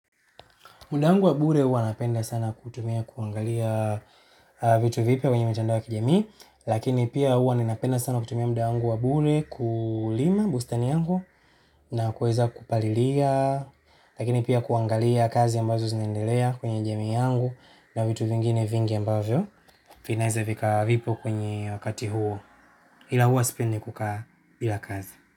Muda wangu wa bure hua napenda sana kutumia kuangalia vitu vipya kwenye mitandao ya kijamii. Lakini pia hua ninapenda sana kutumia muda wangu wa bure kulima bustani yangu na kuweza kupalilia, lakini pia kuangalia kazi ambazo zinaendelea kwenye jamii yangu, na vitu vingine vingi ambavyo vinaeza vika vipo kwenye wakati huo ila hua sipendi kukaa bila kazi.